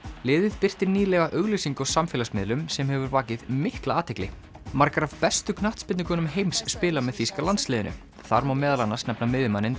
liðið birti nýlega auglýsingu á samfélagsmiðlum sem hefur vakið mikla athygli margar af bestu heims spila með þýska landsliðinu þar má meðal annars nefna miðjumanninn